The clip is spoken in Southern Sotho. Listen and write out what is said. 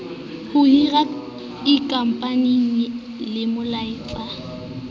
ho hira ikopanyeng le moeletsi